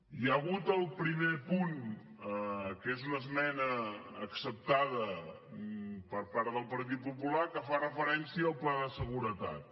hi ha hagut el primer punt que és una esmena acceptada per part del partit popular que fa referència al pla de seguretat